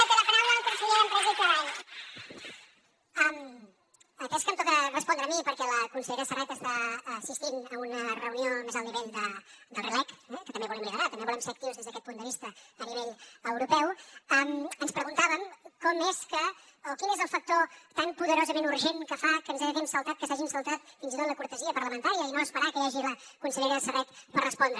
atès que em toca respondre a mi perquè la consellera serret està assistint a una reunió al més alt nivell del rleg que també volem liderar també volem ser actius des d’aquest punt de vista a nivell europeu ens preguntàvem com és que o quin és el factor tan poderosament urgent que fa que ens haguem saltat que s’hagin saltat fins i tot la cortesia parlamentària i no esperar que hi hagi la consellera serret per respondre